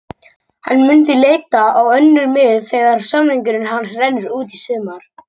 Hann mun því leita á önnur mið þegar samningur hans rennur út í sumar.